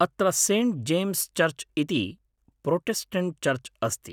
अत्र Saint James church इति Protestant church अस्ति।